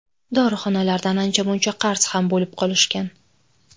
Dorixonalardan ancha-muncha qarz ham bo‘lib qolishgan.